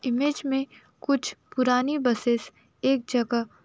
image में कुछ पुरानी बसेस एक जगह --